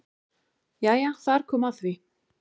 Jæja þar kom að því!